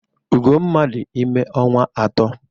Ugomma dị ime ọnwa atọ.